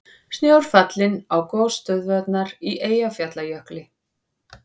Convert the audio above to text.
Snjór fallinn á gosstöðvarnar í Eyjafjallajökli